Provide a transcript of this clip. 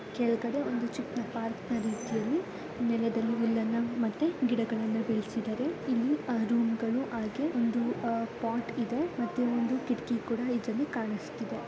ಕೆಳಗಡೆ ಒಂದು ಚಿಕ್ಕ ಪಾರ್ಕ್ ಇದೆ ಮತ್ತು ಕೆಳಗಡೆ ಹುಲ್ಲು ಮತ್ತೆ ಅಲ್ಲಿ ಗಿಡಗಳು ಬೆಳಸಿದ್ದಾರೆ ಇಲ್ಲಿ ಆ ರೂಂಗಳು ಹಾಗೂ ಪೋಟ ಇದೆ ಮತ್ತು ಒಂದು ಕಿಡಕಿ ಕುಡಕಾ ಣಿಸುತ್ತಿದೆ .